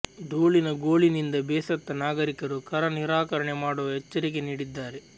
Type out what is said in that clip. ಧೂಳಿನ ಗೋಳಿನಿಂದ ಬೇಸತ್ತ ನಾಗರಿಕರು ಕರ ನಿರಾಕರಣೆ ಮಾಡುವ ಎಚ್ಚರಿಕೆ ನೀಡಿದ್ದಾರೆ